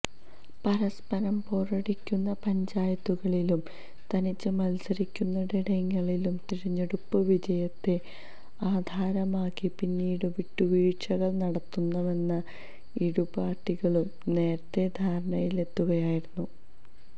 പരസ്പരം പോരടിക്കുന്ന പഞ്ചായത്തുകളിലും തനിച്ച് മത്സരിക്കുന്നയിടങ്ങളിലും തിരഞ്ഞെടുപ്പ് വിജയത്തെ ആധാരമാക്കി പിന്നീട് വിട്ടുവീഴ്ചകള് നടത്തുമെന്ന് ഇരുപാര്ട്ടികളും നേരത്തെ ധാരണയിലെത്തിയിരുന്നു